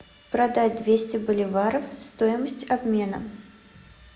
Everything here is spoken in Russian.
продать двести боливаров стоимость обмена